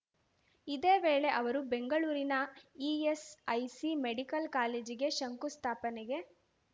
ಇದೇ ವೇಳೆ ಅವರು ಬೆಂಗಳೂರಿನ ಇಎಸ್‌ಐಸಿ ಮೆಡಿಕಲ್‌ ಕಾಲೇಜಿಗೆ ಶಂಕುಸ್ಥಾಪನೆ